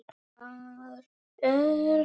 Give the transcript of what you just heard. Hvar er hann?